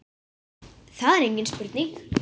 Það er engin spurning